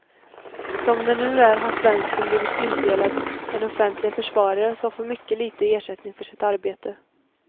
Som det nu är har svensken blivit tilldelad en offentlig försvarare som får mycket lite i ersättning för sitt arbete.